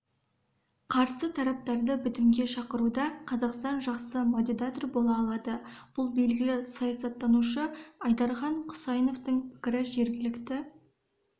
қарсы тараптарды бітімге шақыруда қазақстан жақсы модератор бола алады бұл белгілі саясаттанушы айдархан құсаиновтың пікірі жергілікті